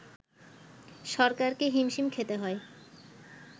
সরকারকে হিমশিম খেতে হয়